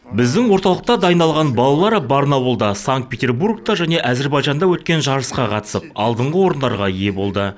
біздің орталықта дайындалған балалар барнауылда санкт петербургта және әзербайжанда өткен жарысқа қатысып алдыңғы орындарға ие болды